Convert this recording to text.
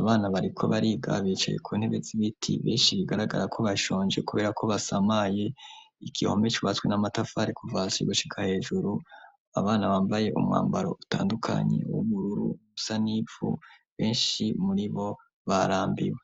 abana bariko bariga bicaye ku ntebe z'ibiti benshi bigaragara ko bashonje kubera ko basamaye igihome cubatswe n'amatafari kuva hasi gushika hejuru abana bambaye umwambaro utandukanye ubururu usa n' ivu benshi muri bo barambiwe.